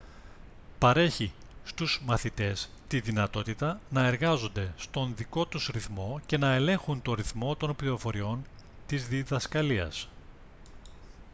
παρέχει στους μαθητές τη δυνατότητα να εργάζονται στον δικό τους ρυθμό και να ελέγχουν τον ρυθμό των πληροφοριών της διδασκαλίας